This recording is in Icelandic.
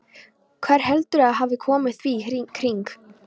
Hver heldurðu að hafi komið því í kring?